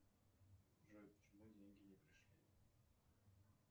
джой почему деньги не пришли